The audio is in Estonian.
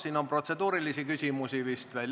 Siin on vist protseduurilisi küsimusi.